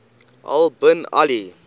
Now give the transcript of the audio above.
al bin ali